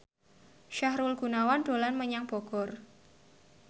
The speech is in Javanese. Sahrul Gunawan dolan menyang Bogor